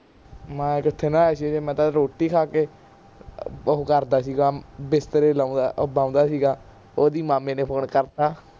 ਮੈਂ ਕਿਥੇ ਨਹਾਇਆ ਸੀ ਹਜੇ ਮੈਂ ਤੇ ਰੋਟੀ ਖਾ ਕੇ ਅਹ ਉਹ ਕਰਦਾ ਸੀਗਾ ਬਿਸਤਰੇ ਲਾਉਂਦਾ ਉਹ ਬਾਉਂਦਾ ਸੀਗਾ ਉਦੀਂ ਮਾਮੇ ਨੇ ਫੋਨ ਕਰਤਾ